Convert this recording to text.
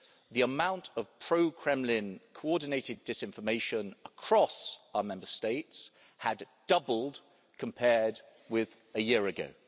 the amount of pro Kremlin coordinated disinformation across our Member States had doubled compared with a year ago.